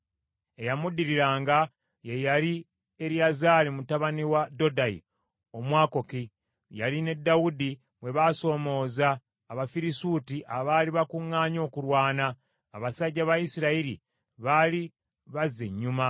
Eyamuddiriranga ye yali Eriyazaali mutabani wa Dodayi Omwakowa. Yali ne Dawudi bwe baasoomooza Abafirisuuti abaali bakuŋŋaanye okulwana. Abasajja ba Isirayiri baali bazze ennyuma,